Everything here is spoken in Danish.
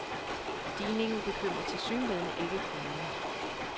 Stigningen bekymrer tilsyneladende ikke kunderne.